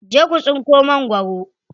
Je ku tsinko magwaro.